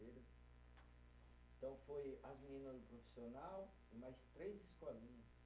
Então, foi as meninas do profissional e mais três escolinhas.